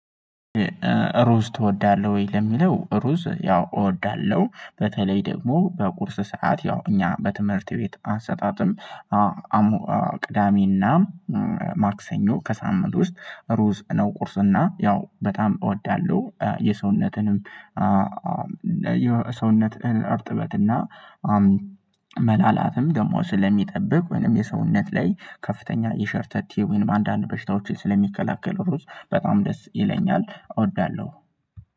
ሩዝ ትወዳለህ ወይ ለሚለው? ሩዝ ያው እወዳለሁ በተለይ ደግሞ በቁርስ ሰዓት ያው እኛ በትምህርት ቤት አሰጣጥም አ አሞ ቅዳሜና ማክሰኞ ከሳምንት ውስጥ ሩዝ ነው ቁርሱና ያው በጣም እወዳለሁ። የሰውነትንም ሰውነትህን እርጥበትና መላላትም ደግሞ ስለሚጠብቅ ወይንም የሰውነት ላይ ከፍተኛ የሸርተቴ ወይንም አንዳንድ በሽታዎችን ስለሚከላከል። ሩዝ በጣም ደስ ይለኛል እወዳለሁ።